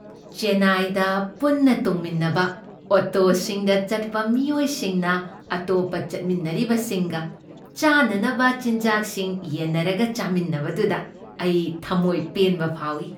ꯆꯦꯟꯅꯥꯏꯗ ꯄꯨꯟꯅ ꯇꯣꯡꯃꯤꯟꯅꯕ ꯑꯣꯇꯣꯁꯤꯡꯗ ꯆꯠꯄ ꯃꯤꯑꯣꯏꯁꯤꯡꯅ ꯑꯇꯣꯞꯄ ꯆꯠꯃꯤꯟꯅꯔꯤꯕꯁꯤꯡꯒ ꯆꯥꯅꯅꯕ ꯆꯤꯟꯖꯥꯛꯁꯤꯡ ꯌꯦꯟꯅꯔꯒ ꯆꯥꯃꯤꯟꯅꯕꯗꯨꯗ ꯑꯩ ꯊꯝꯃꯣꯏ ꯄꯦꯟꯕ ꯐꯥꯎꯏ꯫